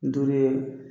Duuru ye